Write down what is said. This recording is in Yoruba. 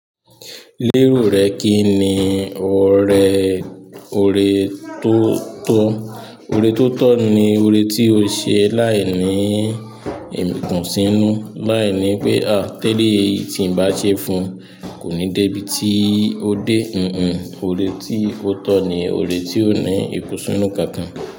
Lérò rẹ kí ni ọrẹ ọ̀rẹ́ tó tọ́? Ọ̀rẹ́ tó tọ́ ni ọ̀rẹ́ tí ó ṣe láìní ìkùnsínú, láìní pé "a teléyí tí n bá ṣe fún ùn kò ní dé ibi tí ó dé." Kànkàn ọ̀rẹ́ tí ó tọ́ ni ọ̀rẹ́ tí ó ní ìkùnsínú.